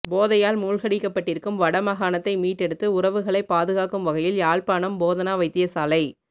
போதையால் மூழ்கடிக்கப்பட்டிருக்கும் வடமாகாணத்தை மீட்டெடுத்து உறவுகளை பாதுகாக்கும் வகையில் யாழ்ப்பாணம் போதனா வைத்தியசாலை